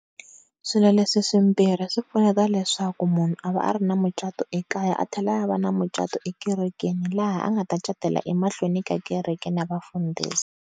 Swilo leswi swimbirhi swi pfuneta leswaku munhu a va a ri na mucato ekaya a tlhela va na mucatu ekerekeni laha a nga ta ncatela emahlweni ka kereke na vafundisi.